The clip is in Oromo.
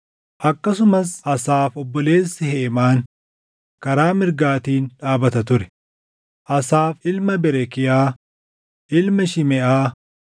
akkasumas Asaaf obboleessi Heemaan karaa mirgaatiin dhaabata ture: Asaaf ilma Berekiyaa, ilma Shimeʼaa,